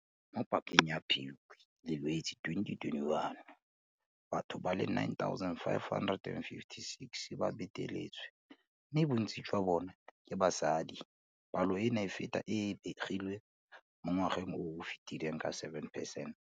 Mo pakeng ya Phukwi le Lwetse 2021, batho ba le 9 556 ba beteletswe, mme bontsi jwa bona ke basadi. Palo eno e feta e e begilweng mo ngwageng o o fetileng ka 7 percent.